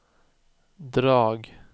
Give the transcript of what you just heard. drag